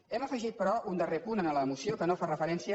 hem afegit però un darrer punt a la moció que no fa referència